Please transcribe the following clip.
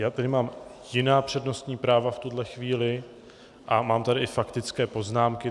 Já tady mám jiná přednostní práva v tuhle chvíli a mám tady i faktické poznámky.